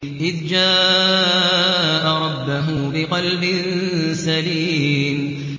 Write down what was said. إِذْ جَاءَ رَبَّهُ بِقَلْبٍ سَلِيمٍ